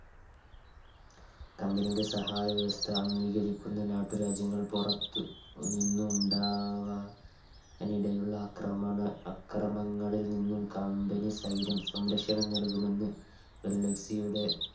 Company യുടെ സഹായ വ്യവസ്ഥ അംഗീകരിക്കുന്ന നാട്ടുരാജ്യങ്ങൾ പുറത്ത് നിന്നും ഉണ്ടാവാ നിടയുള്ള അക്രമണ അക്രമങ്ങളിൽനിന്നും Company സൈന്യം സംരക്ഷണം നൽകുമെന്ന് ഡെൽഹൌസിയുടെ